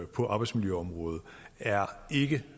på arbejdsmiljøområdet er ikke